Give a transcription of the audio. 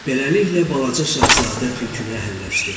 Beləliklə, balaca Şahzadə tülkünü əhilləşdirdi.